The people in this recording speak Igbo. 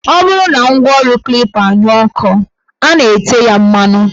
Ọ bụrụ na ngwaọrụ Klipa anyụọ nkọ, a na-ete ya mmanụ